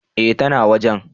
Eh ta na wajen